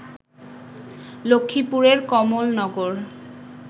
লক্ষ্মীপুরের কমলনগর